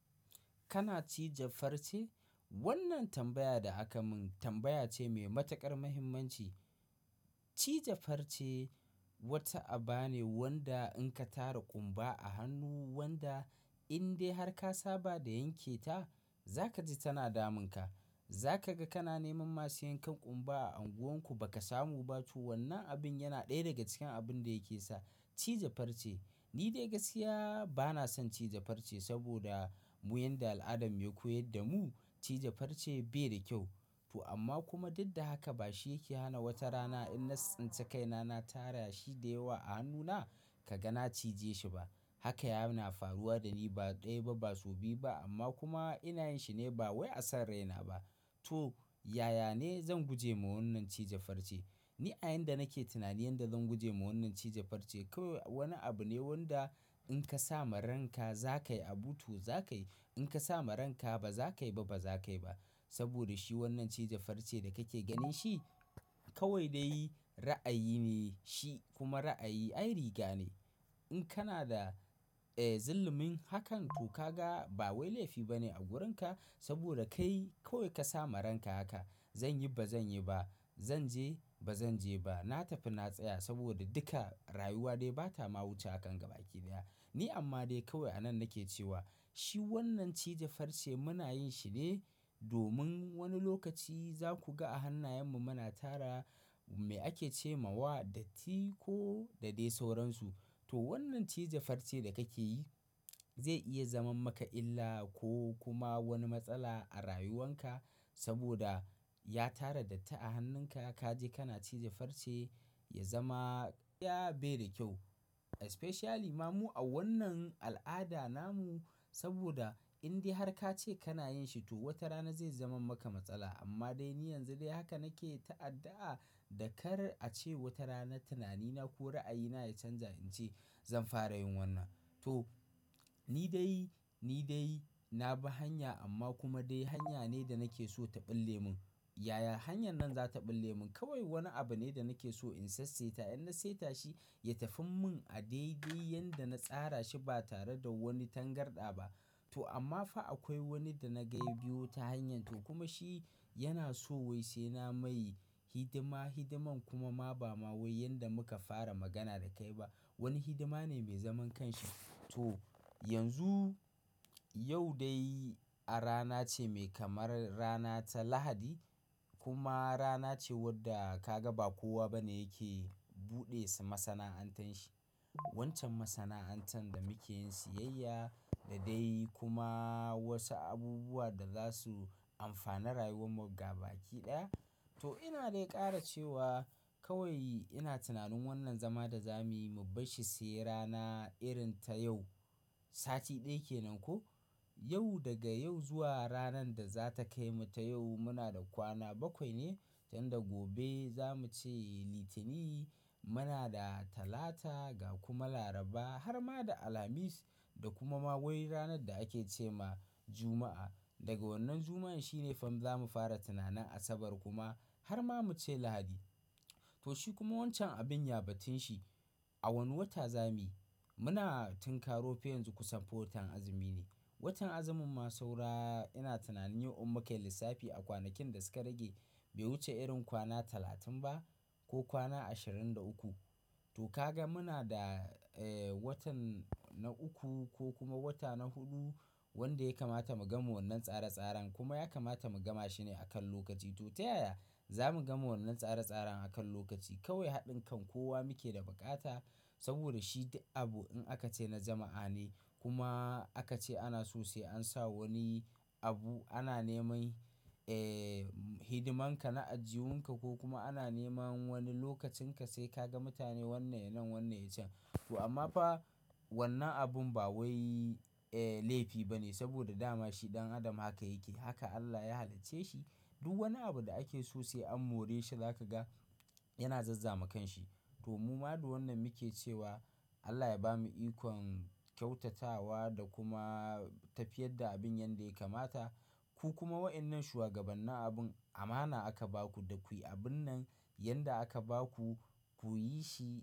Kana cije farce? Wannan tambaya da aka mun tambaya ce mai matuƙar muhimmanci. Cije farce wata aba ne wanda in ka tara ƙumba a hannun wanda in dai har ka saba da yanke ta za ka ji tana damunka. Za ka ga kana neman masu yanke ƙumba a unguwanku ba ka samu ba. To wannan abin yana ɗaya daga cikin abun da yake sa cije farce. Ni dai gaskiya ba na son cije farce saboda mu yin da al'adanmu ya koyar da mu cije farce bai da kyau. To amma kuma duk da haka ba shi yake hana wata rana in na tsintsai kai na, na tara shi da yawa a hannuna ka ga na cije shi ba. Haka yana faruwa da ni ba ɗaya ba, ba sau biyu ba amma kuma ina yin shi ne ba wai a sarran naina ba. To, yaya ne zan guje wa wannan cije farce? Ni a yan da nake tunanin yadda zan guje wa wannan cije farce kawai wani abu ne wanda in ka sama ranka za ka yi, abuto za ka yi. In ka samu ranka ba za ka yi ba, ba za ka yi ba. Saboda shi wannan cije farce da ka ke ganin shi kawai dai ra'ayi ne shi kuma ra'ayi ai riga ne. In kana da, eh, zullumin hakan to ka ga ba wai laifi ba ne a wurinka saboda kai kawai ka sama ranka haka. Zan yi, ba zan yi ba. Zan je, ba zan je ba. Na tafi na tsaya saboda duka rayuwa dai ba ta ma wuce hakan gaba kiɗiya. Ni amma dai kawai a nan nake cewa shi wannan cije farce muna yin shi ne domin wani lokaci za ku ga a hannayenmu muna tara me ake ce ma wa datti ko da dai sauransu. To wannan cije farce da kake yi zai iya zaman maka illa ko kuma wani matsala a rayuwanka saboda ya tara datti a hannunka ka je kana cije farce ya zama ya bai da kyau. Especially ma mu a wannan al'ada namu saboda in dai har ka ce kana yin shi to wata rana zai zaman maka matsala. Amma dai ni yanzu dai haka nake ta addu'a da kar a ce wata rana tunanina ko ra'ayina ya canja in ce zan fara yin wannan. To, ni dai, ni dai na bi hanya amma kuma dai hanya ne da nake so ta ɓil lemin. Yaya hanyar nan za ta ɓi lemon? Kawai wani abu ne da nake so in sassaita in na saita shi ya tafi mun a daidai yanda na tsara shi ba tare da wani tangarɗa ba. To amma fa akwai wani da na ga biyu ta hanyar to kuma shi yana so wai sai na mai hidima, hidiman kuma ma ba ma wai yanda muka fara magana da kai ba. Wani hidima ne mai zaman kanshi. To, yanzu yau dai a rana ce mai kamar rana ta Lahadi kuma rana ce wadda ka ga ba kowa ba ne yake buɗe su masana'antar shi. Wancan masana'antar da muke yin siyayya da dai kuma wasu abubuwa da za su amfana rayuwar mu gaba kiɗaya. To ina dai ƙara cewa kawai ina tunanin wannan zama da za mu yi mu bar shi sai rana irin ta yau. Sati ɗaya kenan ko? Yau daga yau zuwa ranar da za ta kai mu ta yau muna da kwana bakwai ne tun da gobe za mu ce Litini muna da Talata ga kuma Laraba har ma da Alhamis da kuma ma wai ranar da ake ce ma Juma'a. Daga wannan Juma'an shine fam za mu fara tunanin Asabar kuma har ma mu ce Lahadi. To shi kuma wancan abin ya batun shi. A wani wata za mu yi. Muna a tinkaro fa yanzu kusan watan azumi ne. Watan azumin ma saura ina tunanin in mun kai lissafi a kwanakin da suka rage bai wuce irin kwana talatin ba ko kwana ashirin da uku. To ka ga muna da, eh, watan na uku ko kuma wata na huɗu wanda ya kamata mu gama wannan tsare-tsaren kuma ya kamata mu gama shi ne akan lokaci. To ta yaya za mu gama wannan tsare-tsaren akan lokaci? Kawai haɗin kan kowa muke da bukata saboda shi abu in aka ce na jama'a ne kuma aka ce ana sosai an sa wani abu ana nema, eh, hidiman ka na ajihun ka ko kuma ana nema wani lokacin ka sai ka ga mutane wannan ya nan, wannan ya can. To amma fa wannan abin ba wai, eh, laifi ba ne saboda dama shi ɗan adam haka yake. Haka Allah ya halicce shi. Duk wani abu da ake sosai an more shi za ka ga yana zazzama kanshi. To mu ma da wannan muke cewa Allah ya bamu ikon kyautatawa da kuma tafiyar da abin yanda ya kamata. Ku kuma wa'innan shugabannin abun amana aka ba ku da kuyi abun nan, yanda aka ba ku kuyi shi.